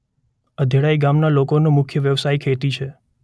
અધેળાઇ ગામના લોકોનો મુખ્ય વ્યવસાય ખેતી છે.